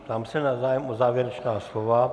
Ptám se na zájem o závěrečná slova.